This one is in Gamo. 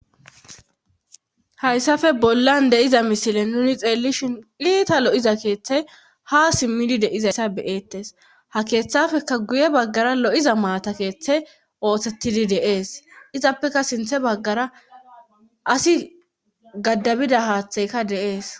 Hayssafe bollan de'iza misile nuni xeellishin iita lo'iza keeththey ha simmidi deizassa beyeettes ha keeththafeka guye baggara lo'iza maata keeththe ooththettidi deees izappeka sinthe baggara asi gaddabida haaththeyka deees